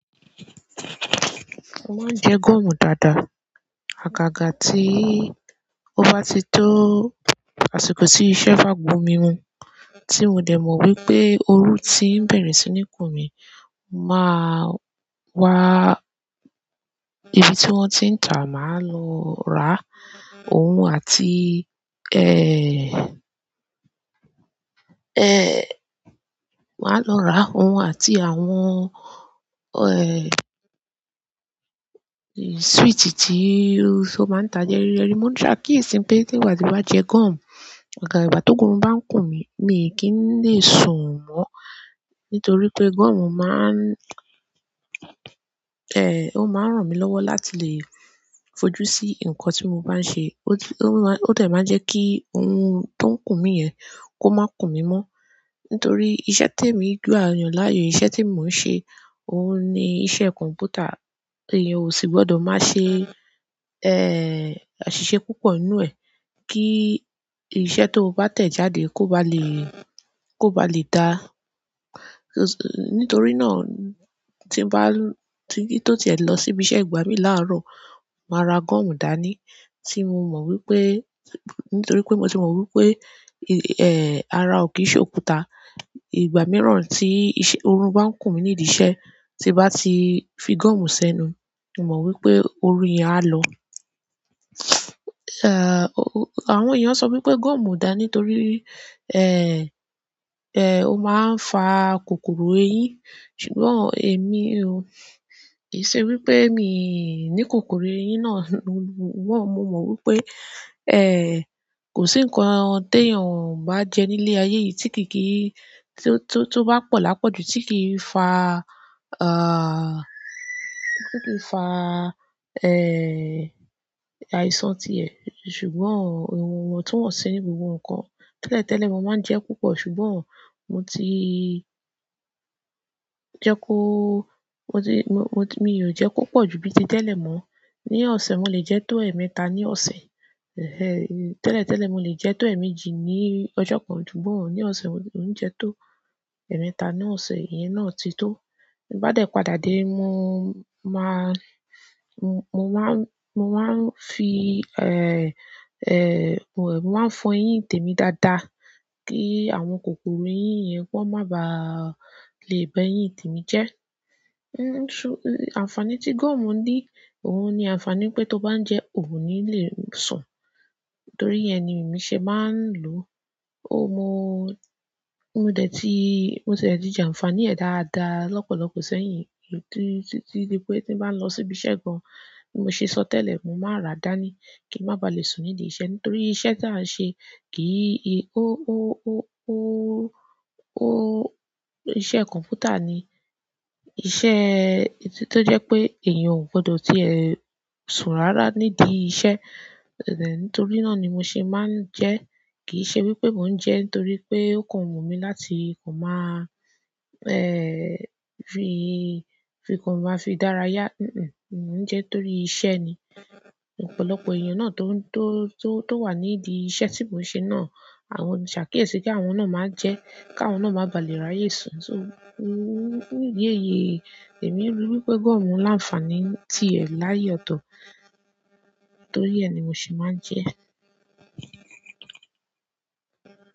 Mo máa ń jẹ gọ̀mù dáadáa. Àgàgà tí ó bá ti tó àsìkò tí iṣẹ́ bá gbo mí mu, tí mo dẹ̀ mọ̀ wípé oru tí ń bẹ̀rẹ̀ sí ní kùn mí, máa wá ìbí tí wọn ti n ta ma lọ ra, oun àti màá lọ ra òun àti àwọn, switch tí ó máa ń tà yẹ́ríyẹ́rí. Mo ṣàkíyèsí pé tí ìwọ bá ti jẹ gọ̀mù, àgàgà ìgbà tó ogun orun bá ń kùn mí, mi kì í lè sùn mọ́. Nítorí pé gọ̀mù máa ń, ó máa ń ràn mí lọ́wọ́ láti lè fojú sí nǹkan tí mo bá ń ṣe. Ó ti, ó má, ó dẹ̀ máa ń jẹ́ kí orun tó ń kùn mí yẹn kó má kùn mí mọ́. Nítorí iṣẹ́ tí èmi gbà yan láàyò, iṣẹ́ tí mò ń ṣe, òun ni iṣẹ́ kọ̀m̀pútà. Eyan o si gbọ́dọ̀ ma ṣe aṣiṣe púpọ̀ nu ẹ ki iṣẹ́ to ba tẹ jáde ko ba le ko ba le da. Nítorí náà, tí bá, tí tó tiẹ̀ lọ síbi iṣẹ́ ìgbà mí láàárọ̀, màá ra gọ̀mù dání tí mo mọ̀ wípé, nítorí pé mo ti mọ̀ wípé, ara ò kì í ṣe òkúta. Ìgbà mìíràn tí iṣẹ́, orun bá ń kùn mí nídi iṣẹ́, tí bá ti fi gúọ̀mù sẹ́nu, mo mọ̀ wípé oru yẹn á lọ. Àwọn eyan sọ wípé gọmu o da nítorí o ma n fa kòkòrò eyin. Ṣùgbọ́n èmi o lè ṣe wípé mi ní kòkòrò eyín náà. Wọ́n, mo mọ̀ wípé, kò sí nǹkan te yàn o bá jẹ nílé ayé yìí tí kì í kí, tí tó bá pọ̀ lápọ̀jù tí kì í faàà́, tí kì í fa, àìsàn ti ẹ̀. Ṣùgbọ́n ìwọ̀n wọ́n tu wọ́n ṣi ni gbogbo nǹkan. Tẹ́lẹ̀tẹ́lẹ̀ mo máa ń jẹ púpọ̀. Ṣùgbọ́n mo ti jẹ kó, mo ti, mo, mo, mi ò jẹ púpọ̀ ju bí ti tẹ́lẹ̀ mọ́. Ni ọ̀sẹ̀, mo lè jẹ tó ẹ̀ẹ̀mẹta ní ọ̀sẹ̀. Tẹ́lẹ̀tẹ́lẹ̀ mo lè jẹ tó ẹ̀ẹ̀mejì ní ọjọ́ kan. Ṣùgbọ́n ní ọ̀sẹ̀, mo mò ń jẹ tó ẹ̀ẹ̀mẹta ní ọ̀sẹ̀. Ìyẹn náà ti tó. Bá dẹ̀ padà dé, mo máa, mo mo máa ń, mo máa ń fi, mo máa ń fọ eyín tèmi dáadáa kí àwọn kòkòrò eyín yẹn kan ma ba à lè bẹ eyín tèmi jẹ́. So, àǹfàní tí gọ̀mù ni, òun ni àǹfàní pé tó bá ń jẹ ò ní lè sùn. Nítorí yẹ́n ni emí ṣe má ń lò ó mo, mo dẹ̀ ti, mo ti e tí jẹ àǹfàní ẹ̀ dáadáa lọ́pọ̀lọpọ̀ sẹ́yìn. Tí, tí, tí ni pé tí bá ń lọ síbi iṣẹ́ gan, bí mo ṣe sọ tẹ́lẹ̀, mo máa rà á dání kí n má ba à lè sùn nídi iṣẹ́. Nítorí iṣẹ́ tí a ń ṣe kì í, ó, ó, ó, ó, ó, iṣẹ́ kọ̀m̀pútà ni. Iṣẹ́ tó jẹ́ pé èèyàn ò gbọdọ̀ tìẹ́ sùn rárá nídi iṣẹ́. Nítorí náà ni mo ṣe máa ń jẹ. Kì í ṣe wípé mò ń jẹ nítorí pé ó kan wu mí láti kò má a, fi, fi kàn ma fi dára yá. Mo ń jẹ torí iṣẹ́ ni. Ọ̀pọ̀lọpọ̀ èèyàn náà tó, tó, tó wà nídi iṣẹ́ tí mò ń ṣe náà, àwọn, ṣàkíyèsí pé àwọn náà máa jẹ́ ká àwọn náà má ba à lè ráyè sùn. So, mo, mo ru di èyí, èmi rí wípé gọ̀mù láàǹfàní ti ẹ̀ láàyè ọ̀tọ̀. Torí ẹ́ ni mo se máa ń jẹ ẹ́.